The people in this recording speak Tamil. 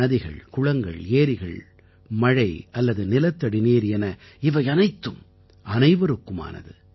நதிகள் குளங்கள் ஏரிகள் மழை அல்லது நிலத்தடிநீர் என இவை அனைத்தும் அனைவருக்குமானது